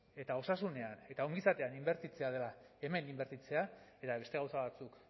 eta osasunean eta ongizatean inbertitzea dela hemen inbertitzea eta beste gauza batzuk